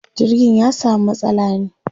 jirgin ya samu matsala ne